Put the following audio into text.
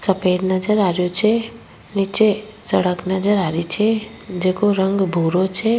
सफेद नजर आ रो छे निचे सड़क नजर आ रही छे जेको रंग भूरो छे।